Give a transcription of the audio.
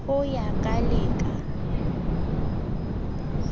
ho ya ka le ka